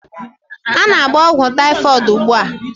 Ana m agba ogwu typhoid ugbua